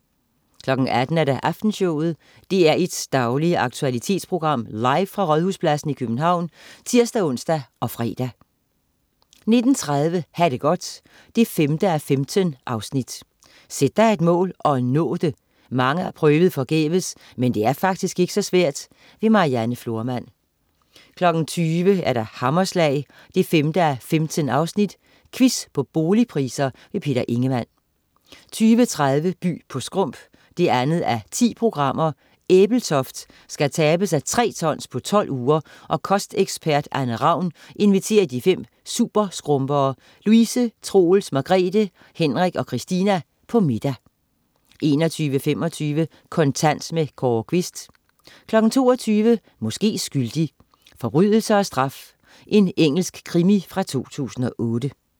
18.00 Aftenshowet. DR1's daglige aktualitetsprogram, live fra Rådhuspladsen i København (tirs-ons og fre) 19.30 Ha' det godt 5:15. Sæt dig et mål og nå det! Mange har forgæves prøvet, men det er faktisk ikke så svært. Marianne Florman 20.00 Hammerslag 5:15. Quiz på boligpriser. Peter Ingemann 20.30 By på skrump 2:10. Ebeltoft skal tabe sig tre tons på 12 uger, og kostekspert Anne Ravn inviterer de fem superskrumpere, Louise, Troels, Margrethe, Henrik og Christina, på middag 21.25 Kontant. Kåre Quist 22.00 Måske skyldig. Forbrydelse og straf. Engelsk krimi fra 2008